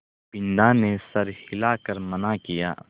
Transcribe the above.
बिन्दा ने सर हिला कर मना किया